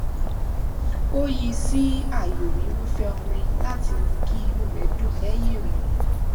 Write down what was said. ó yí sí ààyò irúfẹ orin láti mú kí inú rẹ dùn lẹyìn ìròyìn